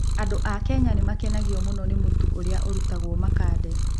Andũ a Kenya nĩ makenagio mũno nĩ mũtu ũrĩa ũrutagwo "makande".